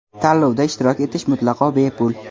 Tanlovda ishtirok etish mutlaqo bepul.